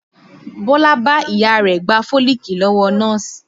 Bọlá bá Ìyá rẹ̀ gba fólìkì lọ́wọ́ nọ́ọ̀sì